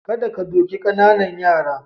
Kada ka doki ƙananan yara.